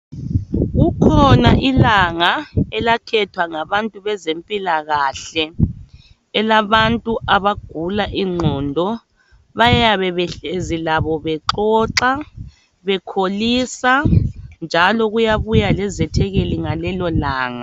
Kukhona ilanga elakhethwa ngabantu bezempilakahle elabantu abagula ingqondo. Bayabe behlezi labo bexoxa, bekholisa njalo kuyabuya lezethekeli ngalelo langa.